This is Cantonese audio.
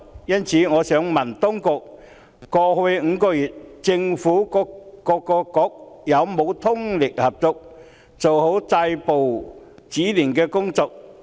因此，我想問當局，過去5個月，政府各個局之間有沒有通力合作，做好止暴制亂的工作？